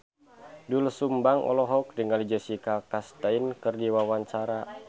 Doel Sumbang olohok ningali Jessica Chastain keur diwawancara